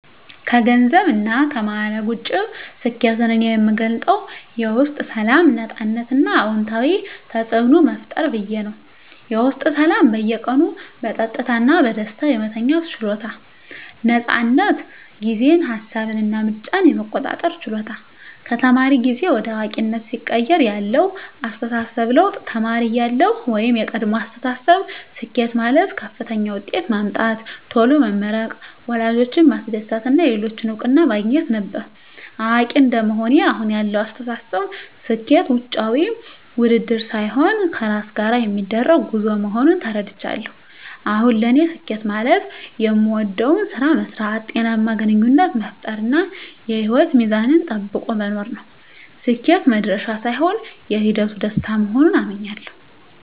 ከገንዘብና ከማዕረግ ውጭ፣ ስኬትን እኔ የምገልጸው የውስጥ ሰላም፣ ነፃነት እና አዎንታዊ ተፅዕኖ መፍጠር ብዬ ነው። -የውስጥ ሰላም በየቀኑ በጸጥታ እና በደስታ የመተኛት ችሎታ። ነፃነት ጊዜን፣ ሃሳብን እና ምርጫን የመቆጣጠር ችሎታ -ከተማሪ ጊዜ ወደ አዋቂነት ሲቀየር ያለው አስተሳሰብ ለውጥ -ተማሪ እያለሁ (የቀድሞ አስተሳሰብ)፦ ስኬት ማለት ከፍተኛ ውጤት ማምጣት፣ ቶሎ መመረቅ፣ ወላጆችን ማስደሰት እና የሌሎችን እውቅና ማግኘት ነበር። አዋቂ እንደመሆኔ (አሁን ያለው አስተሳሰብ)፦ ስኬት ውጫዊ ውድድር ሳይሆን ከራስ ጋር የሚደረግ ጉዞ መሆኑን ተረድቻለሁ። አሁን ለኔ ስኬት ማለት የምወደውን ስራ መስራት፣ ጤናማ ግንኙነት መፍጠር፣ እና የህይወት ሚዛንን ጠብቆ መኖር ነው። ስኬት "መድረሻ" ሳይሆን የሂደቱ ደስታ መሆኑን አምኛለሁ። -